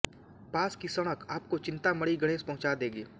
पास की सड़क आपको चिन्तामणि गणेश पहुंचा देगी